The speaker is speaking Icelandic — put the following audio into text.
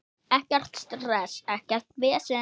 Ekkert stress, ekkert vesen.